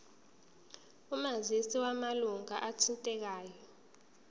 omazisi wamalunga athintekayo